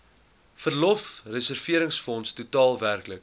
verlofreserwefonds totaal werklik